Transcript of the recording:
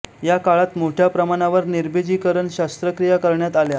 या काळात मोठय़ा प्रमाणावर निर्बिजीकरण शस्त्रक्रिया करण्यात आल्या